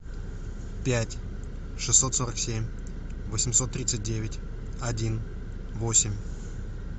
пять шестьсот сорок семь восемьсот тридцать девять один восемь